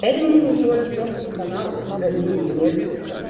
этого нужно всего лишь просто канал один или несколько